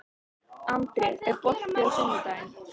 André, er bolti á sunnudaginn?